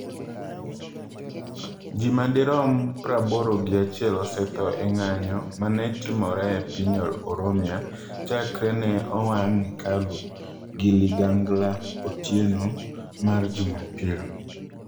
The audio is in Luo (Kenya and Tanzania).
Ji madirom praboro gi achiel osetho e ng’anjo ma ne otimore e piny Oromia chakre ne owang’ Hachalu gi ligangla otieno mar jumapil.